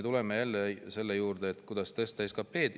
Tuleme selle juurde, kuidas tõsta SKP-d.